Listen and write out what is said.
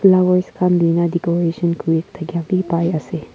Mavoic khan dena decoration kure thatka beh dekhe ase.